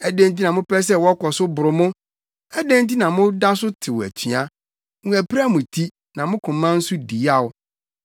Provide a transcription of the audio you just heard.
Adɛn nti na mopɛ sɛ wɔkɔ so boro mo? Adɛn nti na moda so tew atua? Wɔapira mo ti, na mo koma nso di yaw.